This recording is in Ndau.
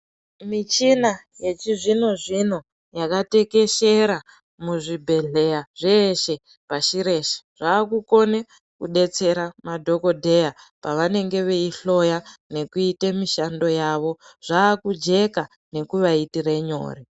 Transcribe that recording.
Michina yechizvino zvino, yakatekeshera muzvibhedhleya zveshe, pashi reshe. Zvakukone kudetsera madhokodheya pavanenge veyihloya nekuite mishando yawo. Zvakujeka nekuvaitire nyore.